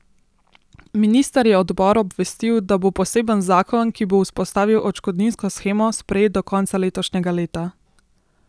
Minister je odbor obvestil, da bo poseben zakon, ki bo vzpostavil odškodninsko shemo, sprejet do konca letošnjega leta.